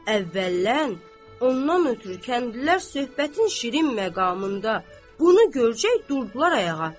Əvvəllən ondan ötrü kəndlilər söhbətin şirin məqamında bunu görəcək durdular ayağa.